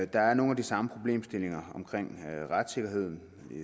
der er nogle af de samme problemstillinger om retssikkerheden